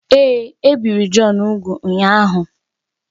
Èé, e biri Jọn úgwù ụnyahụ